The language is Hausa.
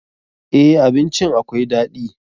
Eh, abincin akwai daɗi.